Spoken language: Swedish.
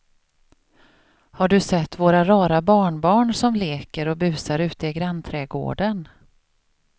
Har du sett våra rara barnbarn som leker och busar ute i grannträdgården!